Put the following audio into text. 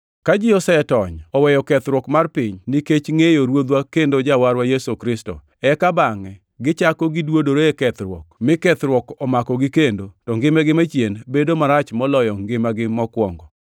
Ka ji osetony oweyo kethruok mar piny, nikech ngʼeyo Ruodhwa kendo Jawarwa Yesu Kristo, eka bangʼe gichako giduodore e kethruok mi kethruok omakogi kendo, to ngimagi machien bedo marach moloyo ngimagi mokwongo.